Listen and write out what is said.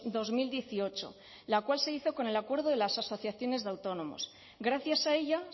dos mil dieciocho la cual se hizo con el acuerdo de las asociaciones de autónomos gracias a ella